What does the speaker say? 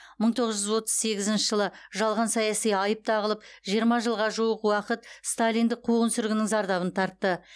мың тоғыз жүз отыз сегізінші жылы жалған саяси айып тағылып жиырма жылға жуық уақыт сталиндік қуғын сүргіннің зардабын тартты